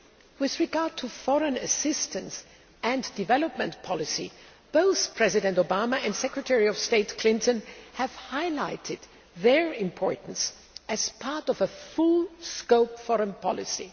With regard to foreign assistance and development policy, both President Obama and Secretary of State Clinton have highlighted their importance as part of a full scope foreign policy.